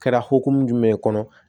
Kɛra hokumu jumɛn kɔnɔ